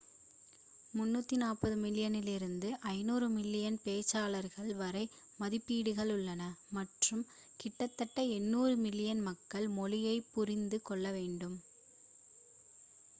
340 மில்லியனிலிருந்து 500 மில்லியன் பேச்சாளர்கள் வரை மதிப்பீடுகள் உள்ளன மற்றும் கிட்டத்தட்ட 800 மில்லியன் மக்கள் மொழியைப் புரிந்து கொள்ள முடியும்